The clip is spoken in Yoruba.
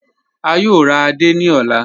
A yòò rà àdé ní ọlá.